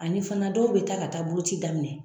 Ani fana dɔw bɛ taa ka taa boloci daminɛ.